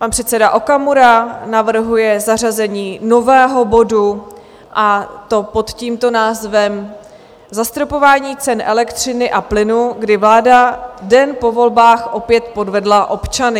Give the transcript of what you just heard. Pan předseda Okamura navrhuje zařazení nového bodu, a to pod tímto názvem: Zastropování cen elektřiny a plynu, kdy vláda den po volbách opět podvedla občany.